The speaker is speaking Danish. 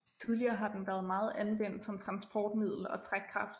Tidligere har den været meget anvendt som transportmiddel og trækkraft